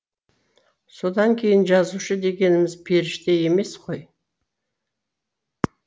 содан кейін жазушы дегеніміз періште емес қой